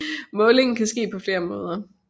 Målingen kan ske på flere måder